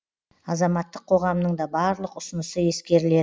азаматтық қоғамның да барлық ұсынысы ескеріледі